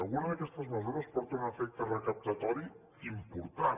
alguna d’aquestes mesures porta un efecte recaptatori important